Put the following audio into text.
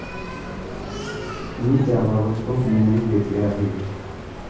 मी त्याबाबत खूप मेहनत घेतली आहे.